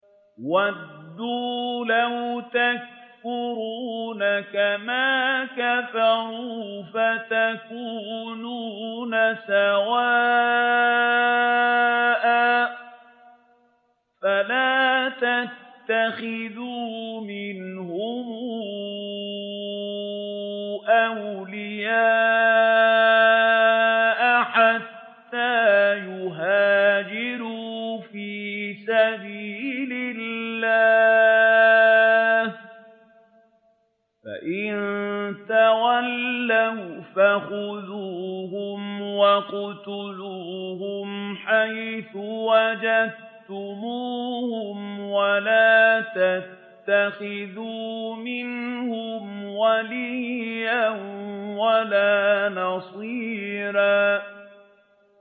وَدُّوا لَوْ تَكْفُرُونَ كَمَا كَفَرُوا فَتَكُونُونَ سَوَاءً ۖ فَلَا تَتَّخِذُوا مِنْهُمْ أَوْلِيَاءَ حَتَّىٰ يُهَاجِرُوا فِي سَبِيلِ اللَّهِ ۚ فَإِن تَوَلَّوْا فَخُذُوهُمْ وَاقْتُلُوهُمْ حَيْثُ وَجَدتُّمُوهُمْ ۖ وَلَا تَتَّخِذُوا مِنْهُمْ وَلِيًّا وَلَا نَصِيرًا